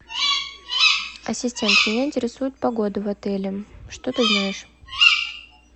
ассистент меня интересует погода в отеле что ты знаешь